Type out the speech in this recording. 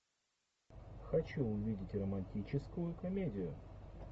хочу увидеть романтическую комедию